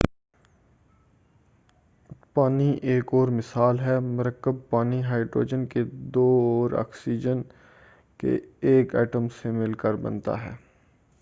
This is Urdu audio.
پانی ایک اور مثال ہے مرکب پانی ہائیڈروجن کے دو اور آکسیجن کے ایک ایٹم سے مل کر بنتا ہے